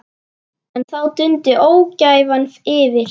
En þá dundi ógæfan yfir.